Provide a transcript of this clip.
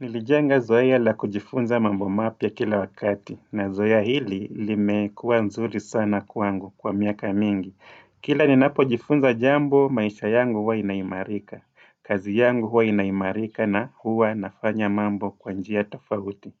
Nilijenga zoea la kujifunza mambo mapya kila wakati. Na zoea hili limekua nzuri sana kwangu kwa miaka mingi. Kila ninapojifunza jambo maisha yangu huwa inaimarika. Kazi yangu huwa inaimarika na huwa nafanya mambo kwa njia tafauti.